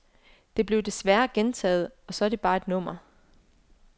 Det bliver desværre gentaget, og så er det bare et nummer.